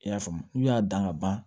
I y'a faamu n'u y'a dan ka ban